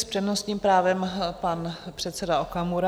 S přednostním právem pan předseda Okamura.